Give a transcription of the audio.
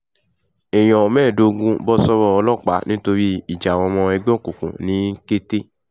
èèyàn mẹ́ẹ̀ẹ́dógún bọ́ sọ́wọ́ ọlọ́pàá nítorí ìjà àwọn ọmọ ẹgbẹ́ òkùnkùn ní kété